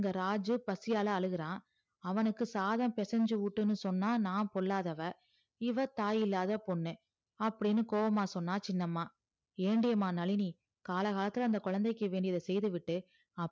இங்கு ராஜு பசியால அழுகுறா அவனுக்கு சாதம் பேசஞ்சி ஊட்டுன்னு சொன்னா நான் பொல்லாதவ இவ தாய் இல்லாத பொண்ணு அப்டின்னு கோவமா சொன்ன சின்னம்மா ஏண்டி எம்மா நழினி கழா காலத்துல குழந்தைக்கு வேண்டியத செயிது விட்டு